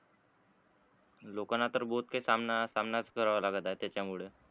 लोकांना तर बहोत काही सामना, सामनाच करावा लागत आहे त्याच्या मुळे